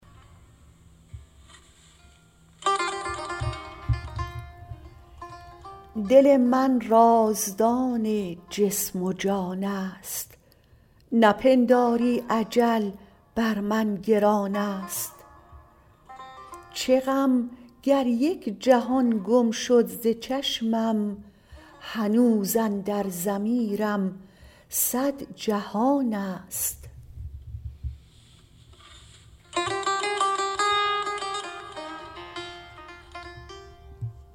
دل من رازدان جسم و جان است نپنداری اجل بر من گران است چه غم گر یک جهان گم شد ز چشمم هنوز اندر ضمیرم صد جهان است